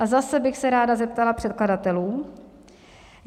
A zase bych se ráda zeptala předkladatelů.